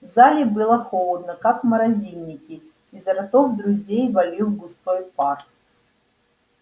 в зале было холодно как в морозильнике изо ртов друзей валил густой пар